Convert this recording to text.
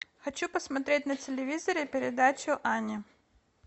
хочу посмотреть на телевизоре передачу ани